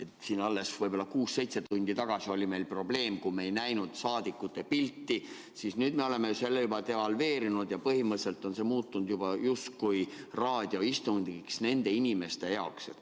Kui siin alles kuus-seitse tundi tagasi oli meil probleem, kui me ei näinud saadikute pilti, siis nüüd me oleme selle juba devalveerinud ja põhimõtteliselt on see muutunud justkui raadioistungiks nende inimeste jaoks, kes seda istungit jälgivad.